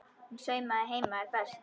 Hún saumaði heima er best.